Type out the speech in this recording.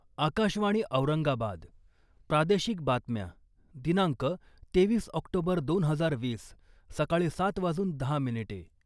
आकाशवाणी औरंगाबाद प्रादेशिक बातम्या दिनांक तेवीस ऑक्टोबर दोन हजार वीस सकाळी सात वाजून दहा मिनिटे.